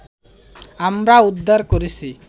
আমরা উদ্ধার করেছি